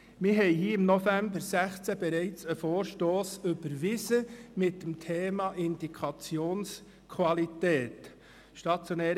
Wir haben im November 2016 hier im Grossen Rat bereits einen Vorstoss zum Thema Indikationsqualität überwiesen: